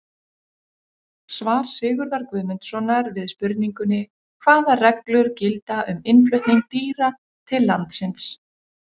Svar Sigurðar Guðmundssonar við spurningunni Hvaða reglur gilda um innflutning dýra til landsins?